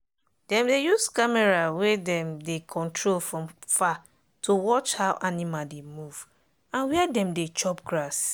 dem dey use camera wey dem dey control from far to watch how animal dey move and where dem dey chop grass.